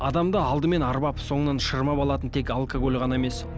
адамды алдымен арбап сонынан шырмап алатын тек алкоголь ғана емес